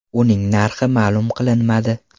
Uning narxi ma’lum qilinmadi.